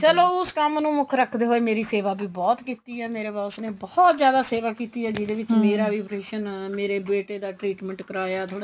ਚਲੋ ਉਸ ਕੰਮ ਨੂੰ ਮੁੱਖ ਰੱਖਦੇ ਹੋਏ ਮੇਰੀ ਸੇਵਾ ਵੀ ਬਹੁਤ ਕੀਤੀ ਏ ਮੇਰੇ boss ਨੇ ਬਹੁਤ ਜਿਆਦਾ ਸੇਵਾ ਕੀਤੀ ਏ ਜਿਦੇ ਵਿੱਚ ਵੀ operation ਮੇਰੇ ਬੇਟੇ ਦਾ treatment ਕਰਾਇਆ ਥੋੜਾ